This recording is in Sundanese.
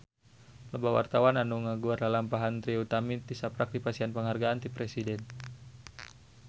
Loba wartawan anu ngaguar lalampahan Trie Utami tisaprak dipasihan panghargaan ti Presiden